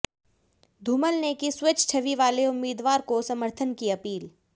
धूमल ने की स्वच्छ छवि वाले उम्मीदवार को समर्थन की अपील